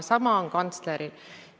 Sama on kantsleri puhul.